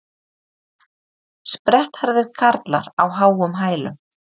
Sprettharðir karlar á háum hælum